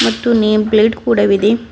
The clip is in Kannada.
ಮತ್ತು ದೊಡ್ಡು ನೇಮ್ ಪ್ಲೇಟ್ ಕೂಡವಿದೆ.